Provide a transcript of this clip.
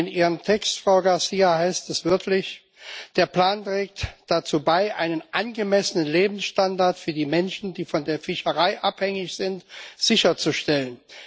In Ihrem Text, Frau García Pérez, heißt es wörtlich Der Plan trägt dazu bei, einen angemessenen Lebensstandard für die Menschen, die von der Fischerei abhängig sind, sicherzustellen.